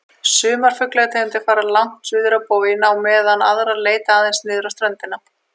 Sumar fuglategundir fara langt suður á boginn á meðan aðrar leita aðeins niður á ströndina.